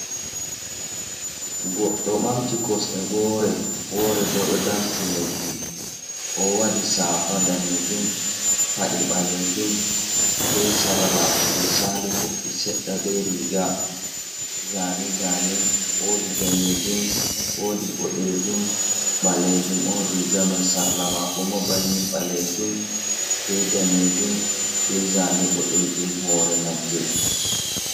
Goɗɗo bamti kosde wore ,wore ɓo ɗo dampi leɗɗi owadi safa danejum, pade balejum be sarla je sali koppi sedda be riga zane zane, wodi danejum ,wodi boɗejum, balejum on riga mai sarla mako ma bannin balejum be danejum be zane boɗejum hore nagge.